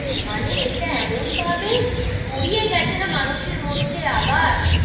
মানে ইটা এমন ভাবে ছড়িয়ে গেছে যে মানুষের মধ্যে আবার,